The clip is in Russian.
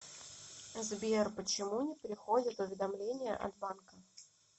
сбер почему не приходят уведомления от банка